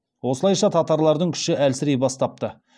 осылайша татарлардың күші әлсірей бастапты